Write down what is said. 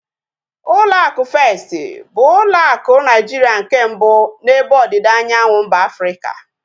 Ụlọ akụ Festi bụ ụlọ akụ Naijiria nke mbụ n'ebe ọdịda anyanwụ mba Afrịka